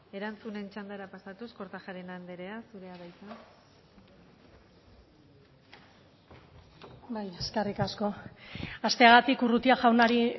erantzunen txandara pasatuz kortajarena andrea zurea da hitza eskerrik asko hasteagatik urrutia jaunari